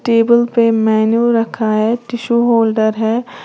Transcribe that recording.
Table पे menu रखा है टिशु होल्डर है।